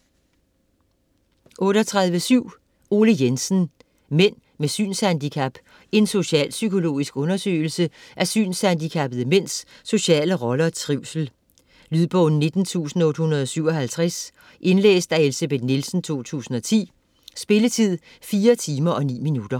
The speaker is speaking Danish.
38.7 Jensen, Ole: Mænd med synshandicap: en socialpsykologisk undersøgelse af synshandicappede mænds sociale rolle og trivsel Lydbog 19857 Indlæst af Elsebeth Nielsen, 2010. Spilletid: 4 timer, 9 minutter.